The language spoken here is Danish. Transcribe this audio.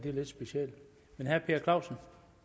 er lidt specielt herre per clausen